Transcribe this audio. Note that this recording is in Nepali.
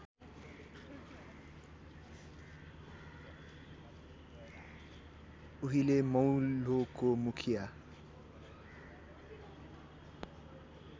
उहिले मौलोको मुखिया